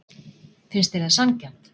Finnst þér það sanngjarnt?